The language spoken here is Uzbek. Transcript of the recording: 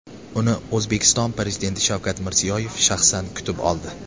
Uni O‘zbekiston Prezidenti Shavkat Mirziyoyev shaxsan kutib oldi .